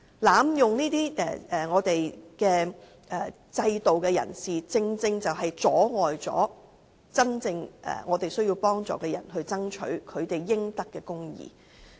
濫用這些制度的人，正正阻礙了真正需要幫助的人爭取他們應得的公義。